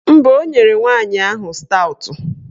Mba, o nyere nwaanyị ahụ staụtụ